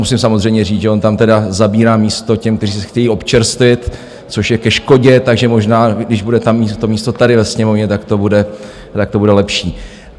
Musím samozřejmě říct, že on tam teda zabírá místo těm, kteří se chtějí občerstvit, což je ke škodě, takže možná když bude mít místo tady ve Sněmovně, tak to bude lepší.